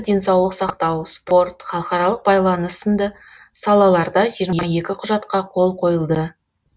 денсаулық сақтау спорт халықаралық байланыс сынды салаларда жиырма екі құжатқа қол қойылды